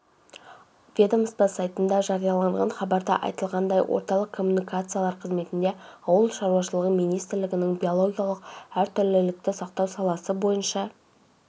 ведомство сайтында жарияланған хабарда айтылғандай орталық коммуникациялар қызметінде ауыл шаруашылығы министрлігінің биологиялық әртүрлілікті сақтау саласы бойынша